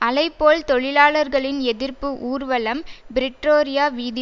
அலைபோல் தொழிலாளர்களின் எதிர்ப்பு ஊர்வலம் பிரிட்ரோரியா வீதி